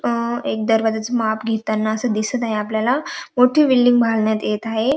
अ एक दरवाजाच माप घेताना अस दिसत आहे आपल्याला मोठी बिल्डिंग बांधण्यात येत आहे.